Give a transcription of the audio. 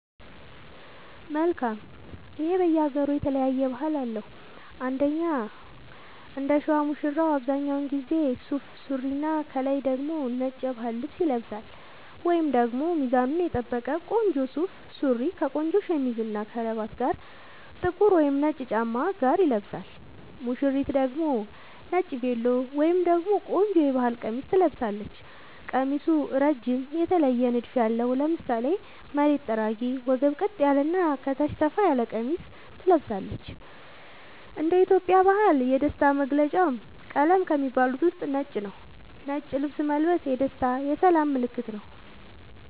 መልካም ይሄ በየ ሃገሩ የተለያየ ባህል አለው እንደኛ እንደሸዋ ሙሽራው አብዛኛውን ጊዜ ሱፍ ሱሪና ከላይ ደግሞ ነጭ የባህል ልብስ ይለብሳልወይንም ደግሞ ሚዛኑን የጠበቀ ቆንጆ ሱፍ ሱሪ ከቆንጆ ሸሚዝ እና ከረባት ጋር ጥቁር ወይም ነጭ ጫማ ጋር ይለብሳል ሙሽሪት ደግሞ ነጭ ቬሎ ወይም ደግሞ ቆንጆ የባህል ቀሚስ ትለብሳለች ቀሚሱ እረጅም የተለየ ንድፍ ያለው ( ለምሳሌ መሬት ጠራጊ ወገብ ቀጥ ያለ እና ከታች ሰፋ ያለ ቀሚስ ትለብሳለች )እንደ ኢትዮጵያ ባህል የደስታ መገልውጫ ቀለም ከሚባሉት ውስጥ ነጭ ነዉ ነጭ ልብስ መልበስ የደስታ የሰላም ምልክትም ነዉ